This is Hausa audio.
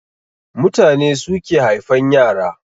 Mutane suke haifan yara